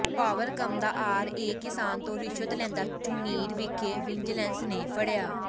ਪਾਵਰਕਾਮ ਦਾ R A ਕਿਸਾਨ ਤੋਂ ਰਿਸ਼ਵਤ ਲੈਂਦਾ ਝੁਨੀਰ ਵਿਖੇ ਵਿਜੀਲੈਂਸ ਨੇ ਫੜਿਆ